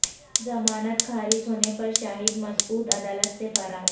ضمانت خارج ہونے پر شاہد مسعود عدالت سے فرار